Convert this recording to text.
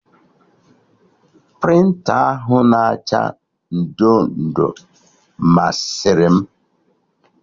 Prịnta ahụ na acha ndo ndo masịrị m